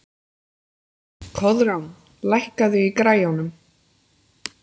Koðrán, lækkaðu í græjunum.